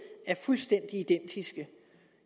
er fuldstændig identiske